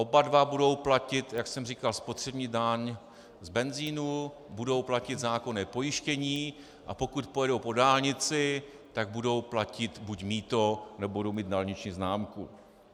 Oba dva budou platit, jak jsem říkal, spotřební daň z benzinu, budou platit zákonné pojištění, a pokud pojednou po dálnici, tak budou platit buď mýto, nebo budou mít dálniční známku.